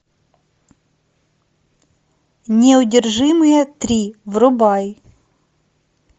неудержимые три врубай